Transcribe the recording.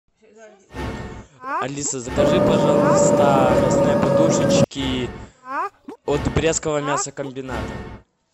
алиса закажи пожалуйста мясные подушечки от брестского мясокомбината